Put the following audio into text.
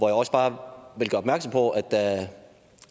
jeg også bare gøre opmærksom på at da